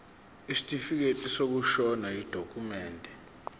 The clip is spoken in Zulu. isitifikedi sokushona yidokhumende